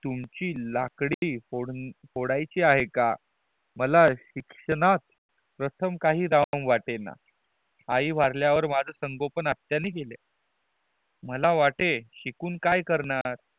तुमची लाकड़ी फोडयाची आहे का मला शिक्षणात प्रथम काही दआम वाटे ना आई वारल्या वर माझ्या संगोपन माझ्या आतत्या ने केल मला वाटे शिकून काय करणार